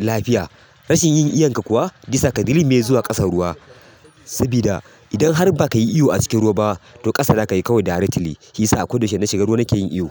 lafiya. Rashin yin iyanka kuwa zai sa ka dilmiye zuwa ƙasan ruwa. Sabida idan har ba ka yi iyo a cikin ruwa ba, to ƙasa za kai kawai directly. Shiyasa a kodayaushe in na shiga ruwa nake yin iyo.